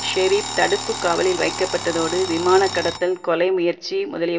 ஷெரீப் தடுப்பு காவலில் வைக்கப்பட்டதோடு விமான கடத்தல் கொலை முயற்சி முதலிய